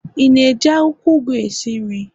Ị na-eji akwụkwọ ugu na-esi nri?